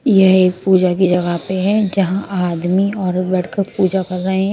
यह एक पूजा की जगह पे है जहां आदमी और औरत बैठ कर पूजा कर रहे--